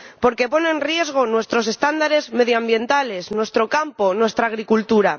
porque pone en riesgo nuestros estándares medioambientales, nuestro campo, nuestra agricultura